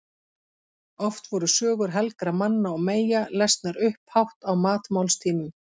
Oft voru sögur helgra manna og meyja lesnar upphátt á matmálstímum.